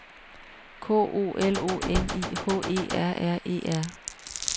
K O L O N I H E R R E R